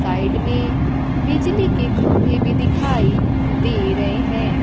Side में बिजली के खंभे भी दिखाई दे रहे हैं।